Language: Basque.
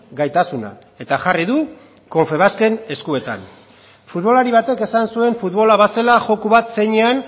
gaitasuna eta jarri du confebasken eskuetan futbolari batek esan zuen futbola bazela joko bat zeinean